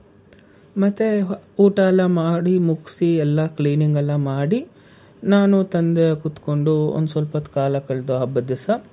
ಮತ್ತೆ ಊಟ ಎಲ್ಲ ಮಾಡಿ ಮುಗ್ಸಿ ಎಲ್ಲಾ cleaning ಎಲ್ಲ ಮಾಡಿ ನಾನು ತಂದೆ ಕೂತ್ಕೊಂಡು ಒಂದ್ ಸ್ವಲ್ಪೊತ್ತು ಕಾಲ ಕಲ್ದು ಹಬ್ಬದ್ ದಿವ್ಸ.